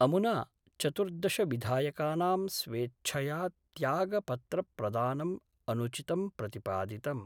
अमुना चतुर्दश विधायकानां स्वेच्छया त्यागपत्र प्रदानम् अनुचितं प्रतिपादितम्।